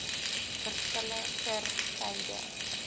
verskille ter syde